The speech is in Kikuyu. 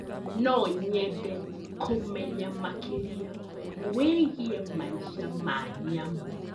No nyende kũmenya makĩria wĩgiĩ maica ma nyamũ.